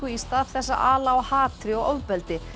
í stað þess að ala á hatri og ofbeldi